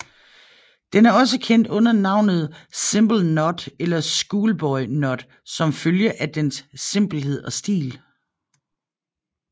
Den er også kendt under navnet simple knot eller schoolboy knot som følge af dens simpelhed og stil